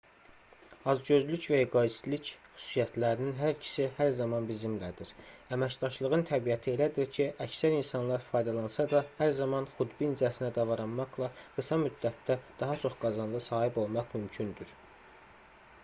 acgözlük və eqoistlik xüsusiyyətlərinin hər ikisi hər zaman bizimlədir əməkdaşlığın təbiəti elədir ki əksər insanlar faydalansa da hər zaman xudbincəsinə davranmaqla qısa müddətdə daha çox qazanca sahib olmaq mümkündür